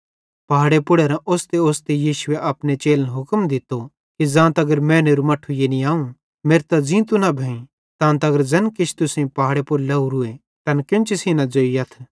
पहाड़े पुड़ेरां ओस्तेओस्ते यीशुए अपने चेलन हुक्म दित्तो कि ज़ां तगर मैनेरू मट्ठू यानी अवं मेरतां ज़ींतो न भोईं तां तगर ज़ैन किछ तुसेईं पहाड़े पुड़ लावरूए तैन केन्ची सेइं न ज़ोइयथ